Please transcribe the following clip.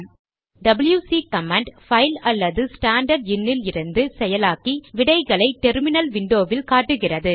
WC command file அல்லது standard in இலிருந்து செயலாக்கி விடைகளை டெர்மினல் விண்டோவில் காட்டுகிறது